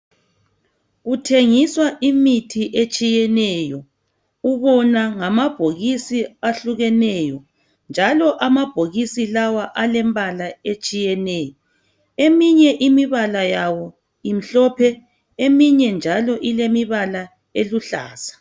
Kuthengiswa imithi etshiyeneyo, ubona ngamabhokisi ahlukeneyo njalo amabhokisi lawa alembala etshiyeneyo. Eminye imibala yawo imhlophe, eminye njalo ilemibala eluhlaza.